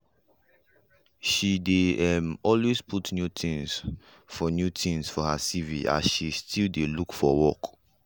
she dey um always put new things for new things for her cv as she still dey look for work